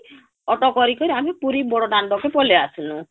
auto କରି କରି ଆମେ ପୁରୀ ବଡ ଦାଣ୍ଡ କେ ପଲେଇ ଆସିନୁ